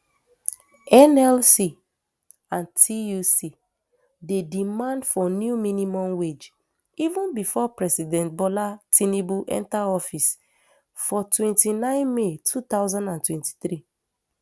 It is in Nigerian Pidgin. nlc and tuc dey demand for new minimum wage even bifor president bola tinubu enta office for twenty-nine may two thousand and twenty-three